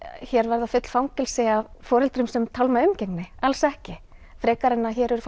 hér verði full fangelsi af foreldrum sem tálma umgengni alls ekki frekar en að hér eru